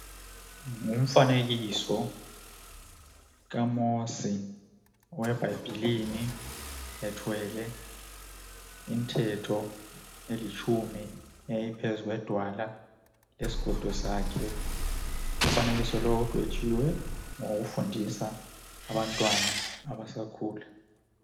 Umfanekiso ka Mosi webhayibhilini ethwele imithetho elitshumi eyayi phezulu kwedwala ephethe isigodo sakhe umfanekiso lowu udwetshiwe ngokufundisa abantwana abasakhula